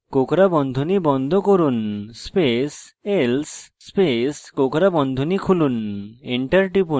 কোঁকড়া বন্ধনী বন্ধ করুন space else space কোঁকড়া বন্ধনী খুলুন enter টিপুন